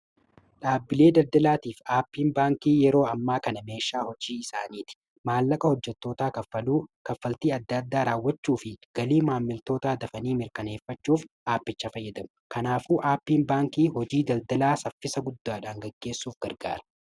Dhaabbilee daldalaatii fi aappiin baankii yeroo ammaa kana meeshaa hojii isaaniiti. maallaqa hojjetootaa kaffaltii adda-addaa raawwachuu fi galii maammiltoota dafanii mirkaneeffachuuf aappicha fayyadamu. kanaafuu aappiin baankii hojii daldalaa saffisa guddaadhaan gaggeessuuf gargaara.